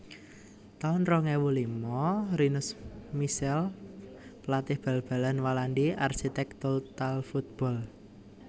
taun rong ewu lima Rinus Michels pelatih bal balan Walandi arsitek total football